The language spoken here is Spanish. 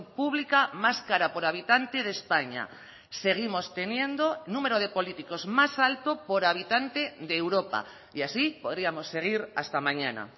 pública más cara por habitante de españa seguimos teniendo número de políticos más alto por habitante de europa y así podríamos seguir hasta mañana